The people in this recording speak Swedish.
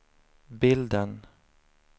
bilden